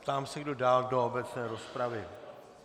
Ptám se, kdo dál do obecné rozpravy.